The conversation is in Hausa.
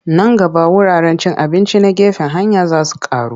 Nan gaba wuraren cin abinci na gefen hanya za su ƙaru.